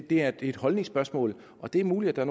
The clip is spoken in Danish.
det er et holdningsspørgsmål og det er muligt at der